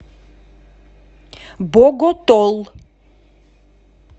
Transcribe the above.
боготол